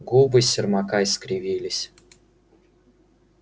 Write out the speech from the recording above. губы сермака искривились